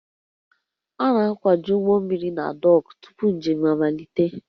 A na-akwaju ụgbọ mmiri na dọọkụ tupu njem amalite